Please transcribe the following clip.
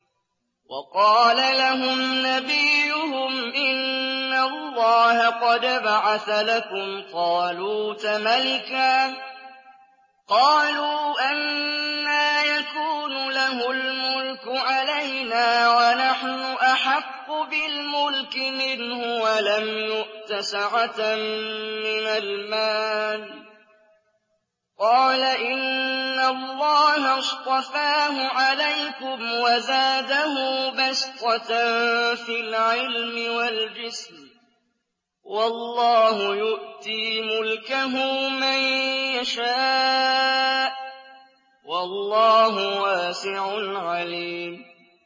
وَقَالَ لَهُمْ نَبِيُّهُمْ إِنَّ اللَّهَ قَدْ بَعَثَ لَكُمْ طَالُوتَ مَلِكًا ۚ قَالُوا أَنَّىٰ يَكُونُ لَهُ الْمُلْكُ عَلَيْنَا وَنَحْنُ أَحَقُّ بِالْمُلْكِ مِنْهُ وَلَمْ يُؤْتَ سَعَةً مِّنَ الْمَالِ ۚ قَالَ إِنَّ اللَّهَ اصْطَفَاهُ عَلَيْكُمْ وَزَادَهُ بَسْطَةً فِي الْعِلْمِ وَالْجِسْمِ ۖ وَاللَّهُ يُؤْتِي مُلْكَهُ مَن يَشَاءُ ۚ وَاللَّهُ وَاسِعٌ عَلِيمٌ